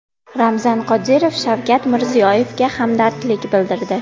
Ramzan Qodirov Shavkat Mirziyoyevga hamdardlik bildirdi.